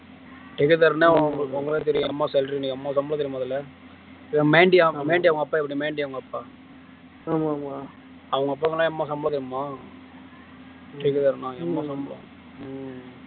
தெரியும் எங்க அம்மா salary இன்னைக்கு அம்மா சம்பளம் தெரியுமா முதல்ல வேண்டி அவங்க அப்பா இப்படி வேண்டி அவங்க அப்பா ஆமா ஆமா அவங்க அப்பாங்களாம் அம்மா சம்மளம் தெரியுமா